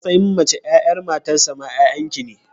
A matsayin mace, 'ya'yan matarsa ma 'ya'yan ki ne.